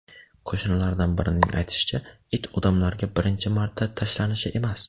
Qo‘shnilardan birining aytishicha, it odamlarga birinchi marta tashlanishi emas.